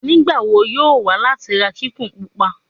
Nigbawo yoo wa lati ra kikun pupa